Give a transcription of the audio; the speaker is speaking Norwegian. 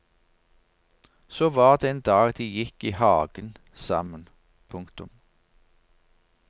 Så var det en dag de gikk i hagen sammen. punktum